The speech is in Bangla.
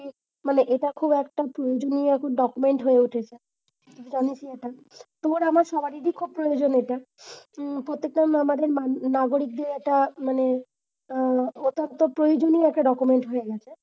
মানে এটা খুব একটা প্রয়োজনীয় document হয়ে উঠেছে। তো আমি তোর আমার সবারই খুব প্রয়োজন এটা। উম প্রত্যেকটা আমাদের না~নাগরিকের মানে আহ একান্ত প্রয়োজনীয় একটা document হয়ে গেছে।